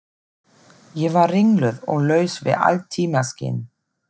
Ég var ringluð og laus við allt tímaskyn.